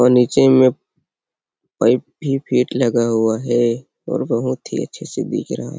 और नीचे में पाइप भी फिट लगा हुआ है और बहोत ही अच्छे से दिख रहा--